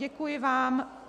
Děkuji vám.